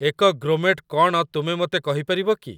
ଏକ ଗ୍ରୋମେଟ୍ କ'ଣ ତୁମେ ମୋତେ କହିପାରିବ କି?